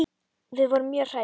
Við vorum mjög hrædd.